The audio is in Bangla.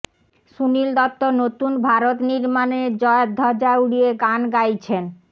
সুনীল দত্ত নতুন ভারত নির্মাণের জয়ধ্বজা উড়িয়ে গান গাইছেন